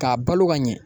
K'a balo ka ɲɛ